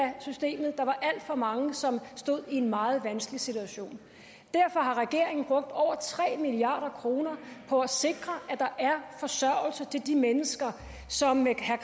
af systemet der var alt for mange som stod i en meget vanskelig situation derfor har regeringen brugt over tre milliard kroner på at sikre at der er forsørgelse til de mennesker som med herre